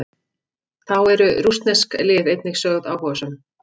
Þá eru rússnesk lið einnig sögð áhugasöm.